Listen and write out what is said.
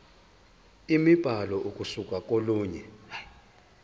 imibhalo ukusuka kolunye